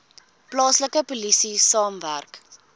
plaaslike polisie saamwerk